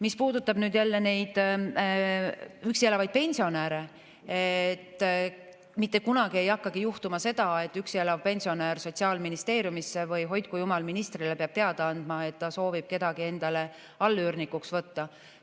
Mis puudutab üksi elavaid pensionäre, siis mitte kunagi ei hakka juhtuma seda, et üksi elav pensionär Sotsiaalministeeriumisse või, hoidku jumal, ministrile peab teada andma, et ta soovib kedagi endale allüürnikuks võtta.